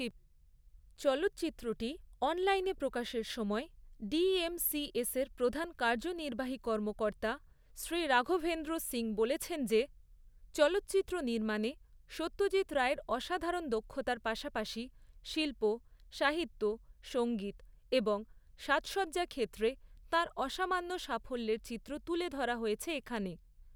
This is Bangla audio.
চলচ্চিত্রটি অনলাইনে প্রকাশের সময়, ডিএমসিএসের প্রধান কার্যনির্বাহী কর্মকর্তা শ্রী রাঘভেন্দ্র সিং বলেছেন যে, চলচ্চিত্র নির্মাণে সত্যজিৎ রায়ের অসাধারণ দক্ষতার পাশাপাশি শিল্প, সাহিত্য, সংগীত এবং সাজসজ্জা ক্ষেত্রে তাঁর অসামান্য সাফল্যের চিত্র তুলে ধরা হয়েছে এখানে।